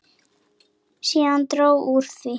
Síðan dró úr því.